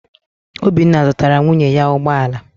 Obinna zụtara nwunye ya ụgbọ ala.